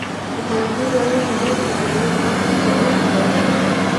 Waxan kuuradini berta kaleyta sii aa oga shagesato.